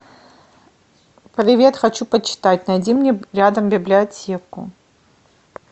привет хочу почитать найди мне рядом библиотеку